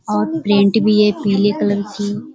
और प्रिंट भी है पीले कलर की।